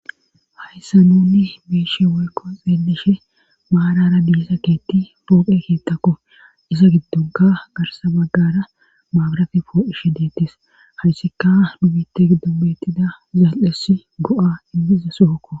hayssa nunni beeshe woykko xeeleshe maarara diisa keetti poophe keettakko isa giddunka garsa baggara maabrafe poo7ishe deettis hayssika numitte giddobettida zaal7es go7a inmiza sookko